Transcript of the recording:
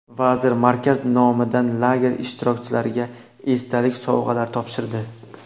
Vazir markaz nomidan lager ishtirokchilarga esdalik sovg‘alar topshirdi.